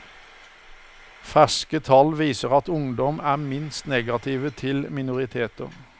Ferske tall viser at ungdom er minst negative til minoriteter.